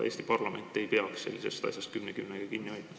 Eesti parlament ei peaks sellisest asjast kümne küünega kinni hoidma.